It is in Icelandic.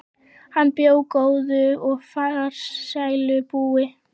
Hann bjó góðu og farsælu búi.